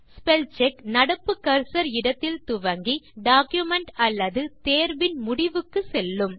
spellcheck நடப்பு cursor இடத்தில் துவங்கி டாக்குமென்ட் அல்லது தேர்வின் முடிவுக்கு செல்லும்